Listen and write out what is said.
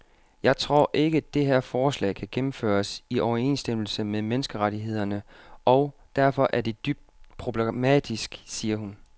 Jeg tror ikke, det her forslag kan gennemføres i overensstemmelse med menneskerettighederne og derfor er det dybt problematisk, siger hun.